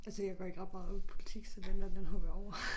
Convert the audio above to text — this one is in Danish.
Altså jeg går ikke ret meget op i politik så den der den hopper jeg over